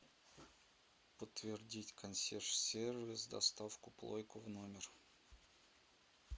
подтвердить консьерж сервис доставку плойку в номер